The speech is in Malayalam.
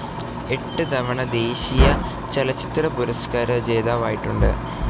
എട്ട് തവണ ദേശീയ ചലച്ചിത്രപുരസ്ക്കാര ജേതാവായിട്ടുണ്ട്.